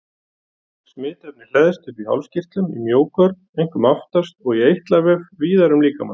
Smitefnið hleðst upp í hálskirtlum, í mjógörn, einkum aftast, og í eitlavef víðar um líkamann.